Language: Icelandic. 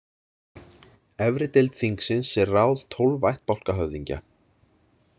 Efri deild þingsins er ráð tólf ættbálkahöfðingja.